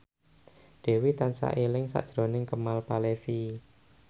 Dewi tansah eling sakjroning Kemal Palevi